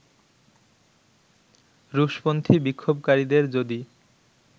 রুশপন্থী বিক্ষোভকারীদের যদি